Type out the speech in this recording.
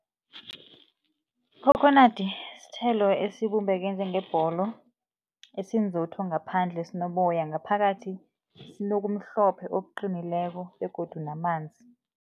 Ikhokhonadi sithelo esibumbeke njengebholo esinzotho ngaphandle sinoboya, ngaphakathi sinokumhlophe okuqinileko begodu namanzi.